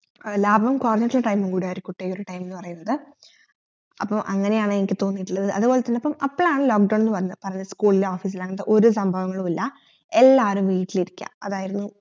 ലാഭം കൊറഞ്ഞിട്ടിട്ട time കൂടി ആയിരിക്കുട്ട ഈ ഒരു time എന്നുപറയുന്നത് അപ്പൊ അങ്ങനെയാണ് എനിക്ക് തോന്നീട്ടുള്ളത്ത് അത് പോലെ തന്നെ അപ്പോളാണ് lock down എന്ന് പറഞ്ഞിട്ട് school ഇല്ല office ഇല്ല എന്ന്പറഞ്ഞിട്ട് ഒരു സഭവങ്ങളുമില്ല എല്ലാരും വീട്ടിലിരിക്ക അതാരുന്നു